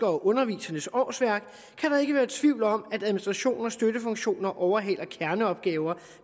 og undervisernes årsværk kan der ikke være tvivl om at administration og støttefunktioner overhaler kerneopgaver